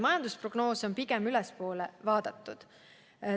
Majandusprognoose on pigem tõusvas joones muudetud.